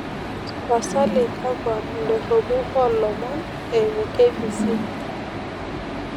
tapasali kakwa indorropu oo ilomon eyimu k.b.c